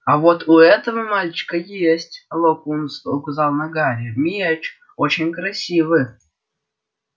а вот у этого мальчика есть локонс указал на гарри меч очень красивый